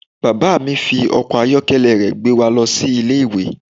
Bàbá mi fi ọkọ̀ ayọ́kẹ́lẹ́ rẹ̀ gbé wa lọ sí Ilé-ìwé.